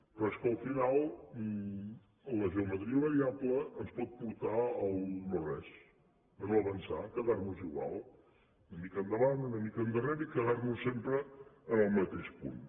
però és que al final la geometria variable ens pot portar al no res a no avançar a quedar nos igual una mica endavant una mica endarrere i quedar nos sempre en el mateix punt